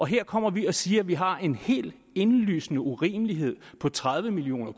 her kommer vi og siger at vi har en helt indlysende urimelighed på tredive million